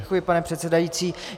Děkuji, pane předsedající.